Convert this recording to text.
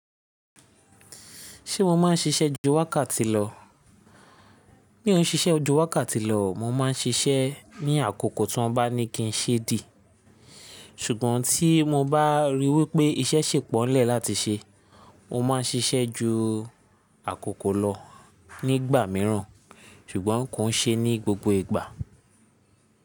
Ṣé mo ma ń ṣiṣẹ́ ju wákàtì lọ? Mi ò ń ṣiṣẹ́ ju wákàtì lọ o, mo máa ń ṣiṣẹ́ ní àkókò tí wọ́n bá ní kí n ṣeé dì. Ṣùgbọ́n tí mo bá ríi wípé iṣẹ́ ṣì pọ̀ ńlẹ̀ láti ṣe, mo ma ń ṣiṣẹ́ ju àkókò lọ nígbà mìíràn, ṣùgbọ́n kò ń ṣe ní gbogbo ìgbà.